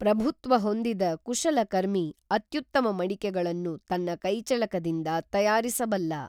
ಪ್ರಭುತ್ವ ಹೊಂದಿದ ಕುಶಲಕರ್ಮಿ ಅತ್ಯುತ್ತಮ ಮಡಿಕೆಗಳನ್ನು ತನ್ನ ಕೈಚಳಕದಿಂದ ತಯಾರಿಸಬಲ್ಲ.